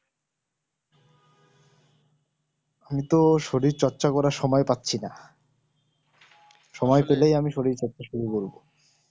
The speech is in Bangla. আমি তো শরীর চর্চা করার সময় পাচ্ছিনা সময় পেলেই আমি শরীর চর্চা শুরু করবো